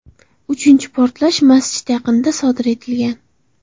Uchinchi portlash masjid yaqinida sodir etilgan.